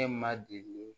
Ne ma deli